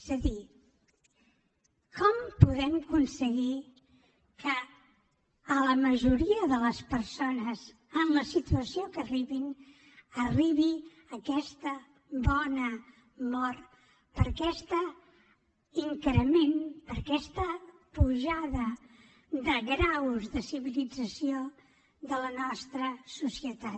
és a dir com podem aconseguir que a la majoria de les persones en la situació que arribin els arribi aquesta bona mort per aquest increment per aquesta pujada de graus de civilització de la nostra societat